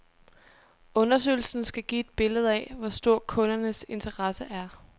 Undersøgelsen skal give et billede af, hvor stor kundernes interesse er.